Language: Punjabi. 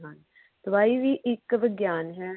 ਦਵਾਈ ਵੀ ਇਕ ਵਿਗਿਆਨ ਹੈ